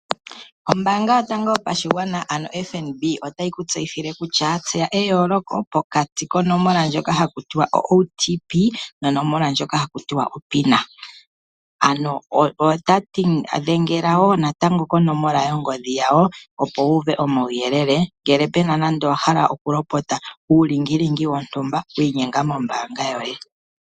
Ombaanga yotango yopashigwana ano FNB otayi ku tseyithile kutya tseya eyooloko pokati konomola ndjoka haku tiwa o"OTP" nonomola ndjoka haku ti o"pin". Ano otati ya dhengela konomola yongodhi yawo, opo wuuve omauyelele ngele pe na nando owa hala okulopota uulingilingi wontumba wiinyenga mombaanga yoye .